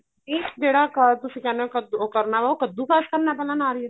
means ਜਿਹੜਾ ਤੁਸੀਂ ਕਹਿਣੇ ਉਹ ਕੱਦੂ ਕਰਨਾ ਉਹ ਕੱਦੂ ਕਸ਼ ਕਰਨਾ ਪੈਂਦਾ ਨਾਰੀਅਲ